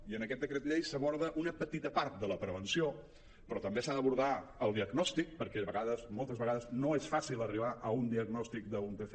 i en aquest decret llei s’aborda una petita part de la prevenció però també s’ha d’abordar el diagnòstic perquè moltes vegades no és fàcil arribar a un diagnòstic d’un tca